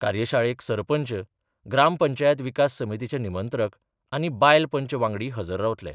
कार्यशाळेक सरपंच, ग्रामपंचायत विकास समितीचे निमंत्रक आनी बायल पंच वांगडी हजर रावतले.